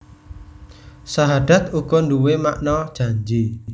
Sahadat uga nduwé makna janji